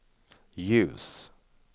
ljus